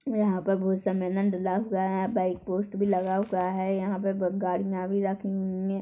यहाँ पर बहुत सा मैदान डला हुआ हैं यहाँ बाईक पोस्ट भी लगा हुआ हैं यहाँ पे गाड़िया भी रखी हुईं हैं।